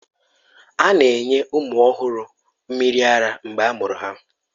A na-enye ụmụ ọhụrụ mmiri ara mgbe a mụrụ ha